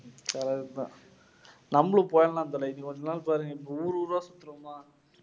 correct தான் நம்மளும் போயிடலாம் தல. இன்னும் கொஞ்ச நாள்ல பாருங்க ஊரு ஊரா